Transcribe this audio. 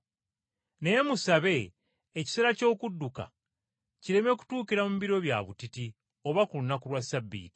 Naye musabe ekiseera ky’okudduka kireme kutuukira mu biro bya butiti oba ku lunaku lwa Ssabbiiti.